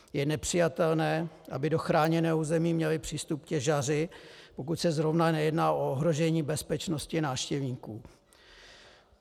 Je nepřijatelné, aby do chráněného území měli přístup těžaři, pokud se zrovna nejedná o ohrožení bezpečnosti návštěvníků.